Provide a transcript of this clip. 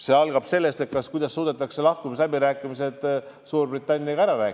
See vastus sõltub sellest, kuidas suudetakse lahkumisläbirääkimised Suurbritanniaga lõpule viia.